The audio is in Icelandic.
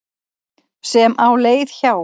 sem á leið hjá.